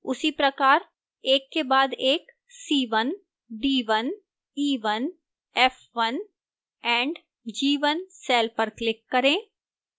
उसी प्रकार एक के बाद एक c1 c1 c1 c1 and c1 cells पर click करें